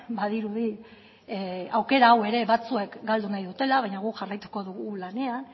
badirudi aukera hau ere batzuek galdu nahi dutela baina guk jarraituko dugu lanean